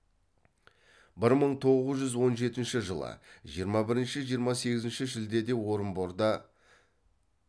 бір мың тоғыз жүз он жетінші жылы жиырма бірінші жиырма сегізінші шілдеде орынборда